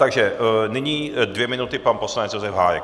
Takže nyní dvě minuty - pan poslanec Josef Hájek.